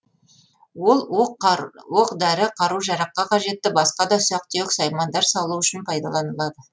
ол оқ дәрі қару жараққа қажетті басқа да ұсақ түйек саймандар салу үшін пайдаланылады